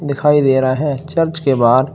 दिखाई दे रहा है चर्च के बाहर।